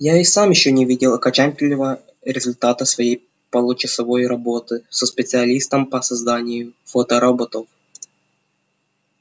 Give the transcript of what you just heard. я и сам ещё не видел окончательного результата своей получасовой работы со специалистом по созданию фотороботов